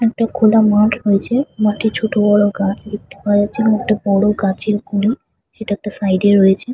একটা খোলা মাঠ রয়েছে মাঠে ছোট বড় গাছ দেখতে পাওয়া যাচ্ছে একটা বড় গাছের গুড়ি সেটা একটা সাইড এ রয়েছে।